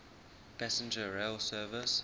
passenger rail service